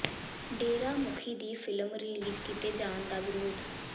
ਡੇਰਾ ਮੁਖੀ ਦੀ film release ਕੀਤੇ ਜਾਣ ਦਾ ਵਿਰੋਧ